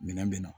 Minɛn bɛ na